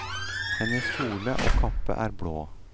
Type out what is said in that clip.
Hennes kjole og kappe er blå.